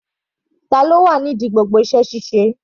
Tani ó wà ní ìdí gbogbo iṣẹ́ ṣíṣe?